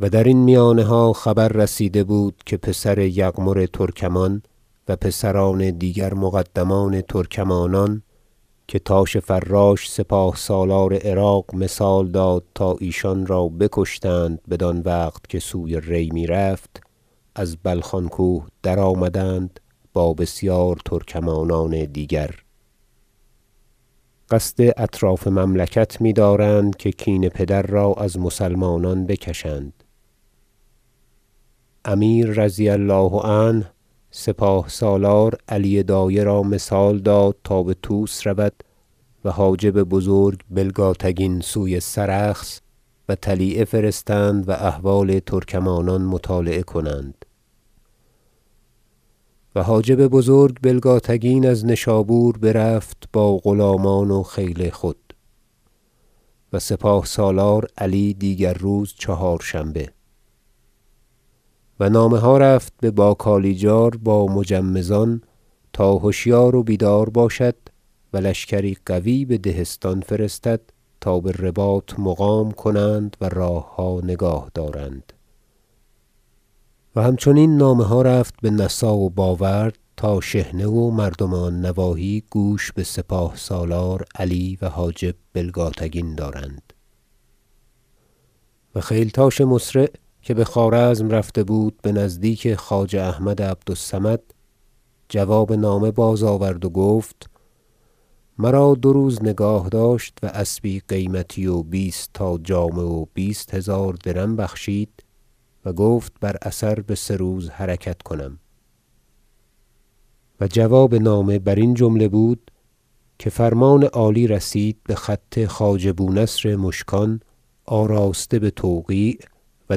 و درین میانها خبر رسیده بود که پسر یغمر ترکمان و پسران دیگر مقدمان ترکمانان که تاش فراش سپاه سالار عراق مثال داد تا ایشان را بکشتند بدان وقت که سوی ری میرفت از بلخان کوه درآمدند با بسیار ترکمانان دیگر قصد اطراف مملکت میدارند که کین پدر را از مسلمانان بکشند امیر رضی الله عنه سپاه سالار علی دایه را مثال داد تا بطوس رود و حاجب بزرگ بلگاتگین سوی سرخس و طلیعه فرستند و احوال ترکمانان مطالعه کنند و حاجب بزرگ بلگاتگین از نشابور برفت با غلامان و خیل خود و سپاه سالار علی دیگر روز چهارشنبه و نامه ها رفت به باکالنجار با مجمزان تا هشیار و بیدار باشد و لشکری قوی به دهستان فرستد تا برباط مقام کنند و راهها نگاه دارند و همچنین نامه ها رفت به نسا و باورد تا شحنه و مردم آن نواحی گوش بسپاه سالار علی و حاجب بلگاتگین دارند و خیلتاش مسرع که بخوارزم رفته بود نزدیک خواجه احمد عبد الصمد جواب نامه بازآورد و گفت مرا دو روز نگاه داشت و اسبی قیمتی و بیست تا جامه و بیست هزار درم بخشید و گفت بر اثر بسه روز حرکت کنم و جواب نامه برین جمله بود که فرمان عالی رسید بخط خواجه بونصر مشکان آراسته بتوقیع و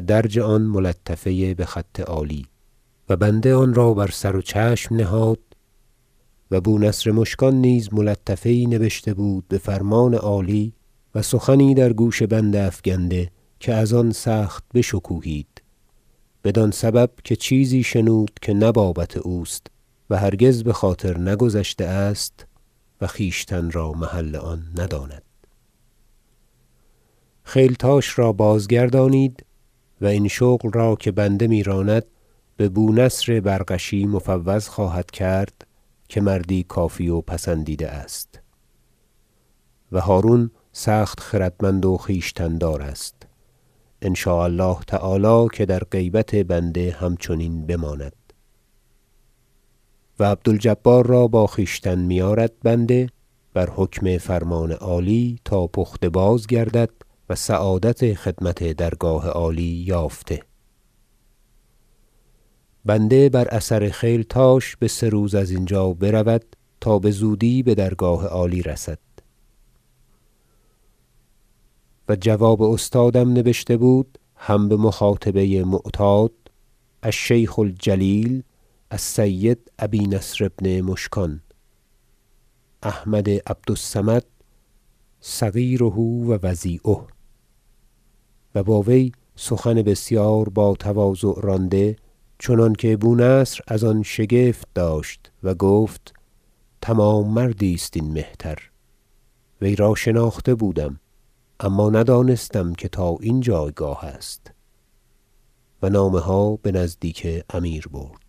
درج آن ملطفه بخط عالی و بنده آن را بر سر و چشم نهاد و بونصر مشکان نیز ملطفه یی نبشته بود بفرمان عالی و سخنی در گوش بنده افگنده که از آن سخت بشکوهید بدان سبب که چیزی شنود که نه بابت اوست و هرگز بخاطر نگذشته است و خویشتن را محل آن نداند خیلتاش را بازگردانید و این شغل را که بنده میراند ببونصر برغشی مفوض خواهد کرد که مردی کافی و پسندیده است و هرون سخت خردمند و خویشتن دار است ان شاء الله تعالی که در غیبت بنده همچنین بماند و عبد الجبار را با خویشتن میآرد بنده بر حکم فرمان عالی تا پخته بازگردد و سعادت خدمت درگاه عالی یافته بنده بر اثر خیلتاش بسه روز ازینجا برود تا بزودی بدرگاه عالی رسد و جواب استادم نبشته بود هم بمخاطبه معتاد الشیخ الجلیل السید ابی نصر بن مشکان احمد عبد الصمد صغیره و وضیعه و با وی سخن بسیار با تواضع رانده چنانکه بونصر از آن شگفت داشت و گفت تمام مردی است این مهتر وی را شناخته بودم اما ندانستم که تا این جایگاه است و نامه ها بنزدیک امیر برد